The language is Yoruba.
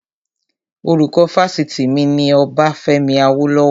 Orúkọ Fásitì mi ni Ọbafẹ́mi Awólọ́wọ̀